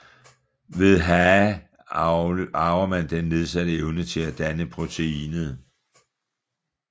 Ved HAE arver man den nedsatte evne til at danne proteinet